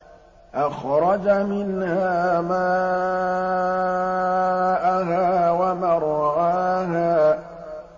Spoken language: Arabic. أَخْرَجَ مِنْهَا مَاءَهَا وَمَرْعَاهَا